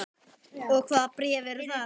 Og hvaða bréf eru það?